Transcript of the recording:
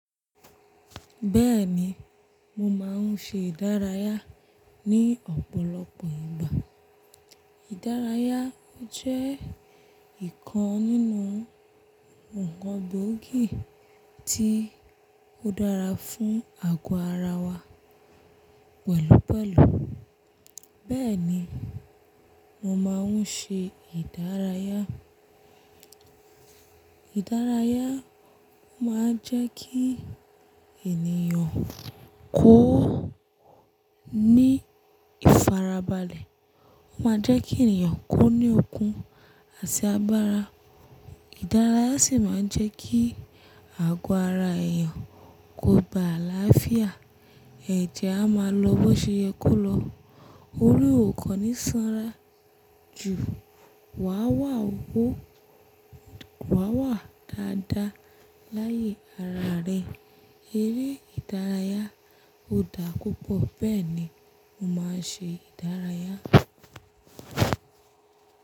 Bẹ́ẹ̀ni, mo máa ń ṣe ìdárayá ní ọ̀pọ̀lọpọ̀ ìgbà. Ìdárayá jẹ́ ìkan nínú ǹkan gbóògì tí ó dára fún àgọ́ ara wa pẹ̀lúpẹ̀lú. Bẹ́ẹ̀ni, mo máa ń ṣe ìdárayá. Ìdárayá máa ń jẹ́ kí ènìyàn kó ní ìfarabalẹ̀. Ó máa ń jẹ́ kí ènìyàn ko ní okun àti agbára. Ìdárayá sì máa ń jẹ́ kí àgọ́ ara èèyàn kó gba àlàáfíà, ẹjẹ́ a máa lọ bó ṣe yẹ kó lọ. Orí ò kan ní sanra ju, wà wà ó wò, wà wà dáadáa láyé ara rẹ. Eré ìdárayá ò dá púpọ̀. Bẹ́ẹ̀ni, mo máa ń ṣe ìdárayá.